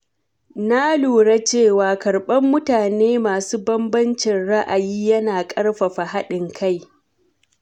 Na lura cewa karɓar mutane masu bambancin ra’ayi yana ƙarfafa haɗin kai.